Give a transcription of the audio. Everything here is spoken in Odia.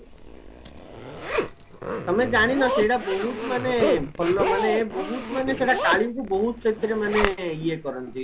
ତମେ ଜାଣିନା ସେଟା ବହୁତ ମାନେ ଭଲ ମାନେ ବହତୁ ମାନେ ସେଟା କାଳିଙ୍କୁ ବହୁତ ସେଥିରେ ମାନେ ଇଏ କରନ୍ତି